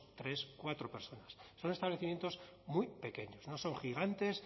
tres cuatro personas son establecimientos muy pequeños no son gigantes